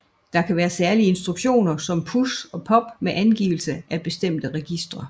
Der kan være særlige instruktioner som PUSH og POP med angivelse af bestemte registre